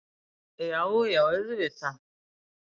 Já, já auðvitað.